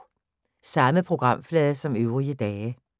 Samme programflade som øvrige dage